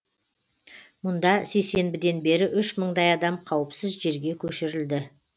мұнда сейсенбіден бері үш мыңдай адам қауіпсіз жерге көшірілді